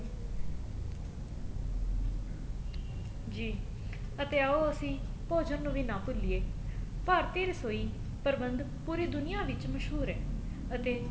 ਜੀ ਅਤੇ ਆਉ ਅਸੀਂ ਭੋਜਣ ਨੂੰ ਵੀ ਨਾ ਭੂਲੀਏ ਭਾਰਤੀ ਰਸੋਈ ਪ੍ਰਬੰਦ ਪੂਰੀ ਦੁਨੀਆ ਵਿੱਚ ਮਸ਼ਹੂਰ ਏ ਅਤੇ